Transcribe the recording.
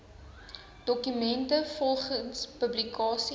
dokumente volgens publikasie